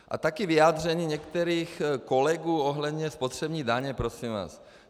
A taky vyjádření některých kolegů ohledně spotřební daně, prosím vás.